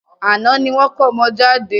Àná ni wọ́n kómọ jade.